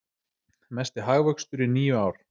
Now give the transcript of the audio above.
Mesti hagvöxtur í níu ár